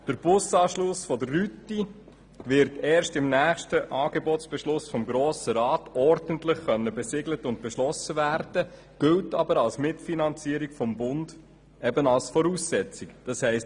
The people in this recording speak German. Der Busanschluss der Rüti wird erst im nächsten Angebotsbeschluss des Grossen Rates ordentlich besiegelt und beschlossen werden können, gilt aber als Voraussetzung für die Mitfinanzierung des Bundes.